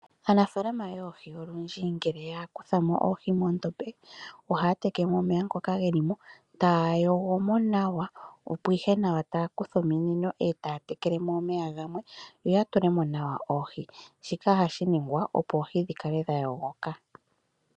Aanafaalama yoohi olundji ngele ya kuthamo oohi moondombe . Ohaya teke mo omeya ngoka gelimo etaya yogo mo nawa opo ihe nawa taya kutha ominino etaya tekelemo omeya gamwe yo ya tulemo nawa oohi. Shika ohashi ningwa opo oohi dhikale dha yogoka.